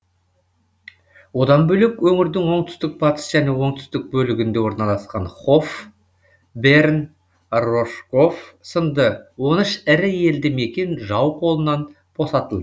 одан бөлек өңірдің оңтүстік батыс және оңтүстік бөлігінде оналасқан хоф берн рожков сынды он үш ірі елді мекен жау қолынан босатылды